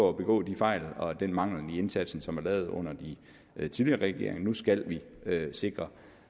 at begå de fejl og undgå den mangel i indsatsen som er lavet under den tidligere regering nu skal vi sikre